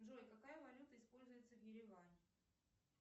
джой какая валюта используется в ереване